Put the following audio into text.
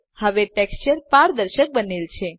હવે ટેક્સચર પારદર્શક બનેલ છે